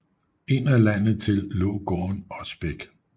Ind ad landet til lå gården Osbæk